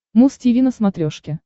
муз тиви на смотрешке